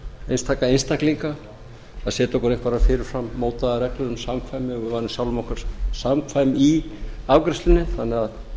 einstaka einstaklinga að setja okkur einhverjar fyrir fram mótaðar reglur um samkvæm að við værum sjálfum okkur samkvæm í afgreiðslunni þannig að